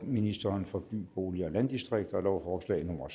ministeren for by bolig og landdistrikter lovforslag nummer